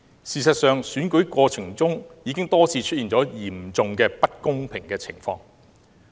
事實上，在選舉過程中已經多次出現了嚴重不公的情況。